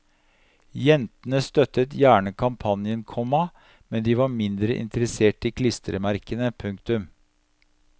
Jentene støttet gjerne kampanjen, komma men de var mindre interessert i klistremerkene. punktum